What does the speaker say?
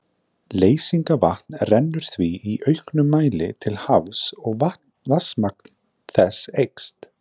Leysingavatn rennur því í auknum mæli til hafs og vatnsmagn þess eykst.